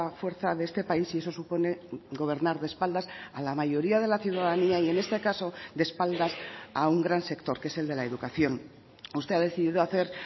fuerza de este país y eso supone gobernar de espaldas a la mayoría de la ciudadanía y en este caso de espaldas a un gran sector que es el de la educación usted ha decidido hacer